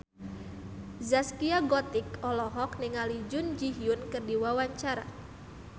Zaskia Gotik olohok ningali Jun Ji Hyun keur diwawancara